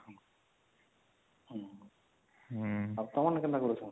ଆଉ ତମର କେନ୍ତା କରୁଛନ